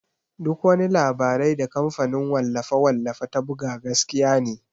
Duk wani labarai da kamfanin wallafe-wallafe ta buga gaskiya ne.